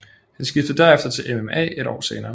Han skiftede derefter til MMA et år senere